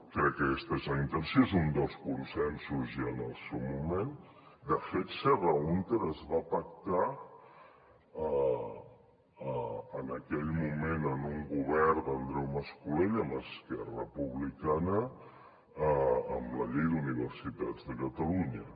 crec que aquesta és la intenció és un dels consensos ja en el seu moment de fet serra húnter es va pactar en aquell moment en un govern d’andreu mas colell amb esquerra republicana amb la llei d’universitats de catalunya